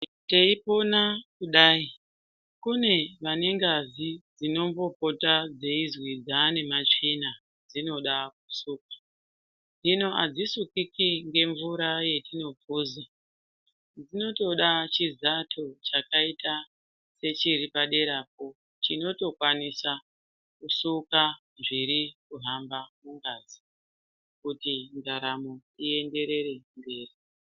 Teipona kudai kune vane ngazi dzinombopota dzeizi dzaane matsvina dzinoda kusukwa, hino adzisukiki nemvura yetinopoza dzinotoda chizato chakaita sechiri paderapo chinotokwanisa kusuka zviri kuhamba mungazi ,kuti ndaramo ienderere mberi.